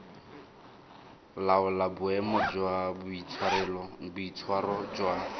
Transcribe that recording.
laola boemo jwa boitshwaro jwa